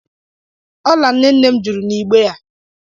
Ọla nnenne jụrụ n'igbe a.